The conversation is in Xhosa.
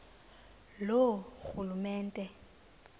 loorhulumente